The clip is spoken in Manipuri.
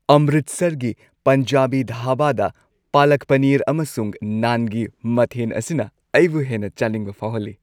ꯑꯝꯔꯤꯠꯁꯔꯒꯤ ꯄꯟꯖꯥꯕꯤ ꯙꯥꯕꯥꯗ ꯄꯂꯛ ꯄꯅꯤꯔ ꯑꯃꯁꯨꯡ ꯅꯥꯟꯒꯤ ꯃꯊꯦꯟ ꯑꯁꯤꯅ ꯑꯩꯕꯨ ꯍꯦꯟꯅ ꯆꯥꯅꯤꯡꯕ ꯐꯥꯎꯍꯜꯂꯤ꯫